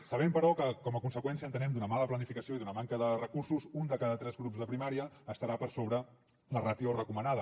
sabem però que com a conseqüència entenem d’una mala planificació i d’una manca de recursos un de cada tres grups de primària estarà per sobre la ràtio recomanada